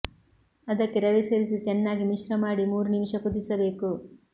ಅದಕ್ಕೆ ರವೆ ಸೇರಿಸಿ ಚೆನ್ನಾಗಿ ಮಿಶ್ರ ಮಾಡಿ ಮೂರು ನಿಮಿಷ ಕುದಿಸಬೇಕು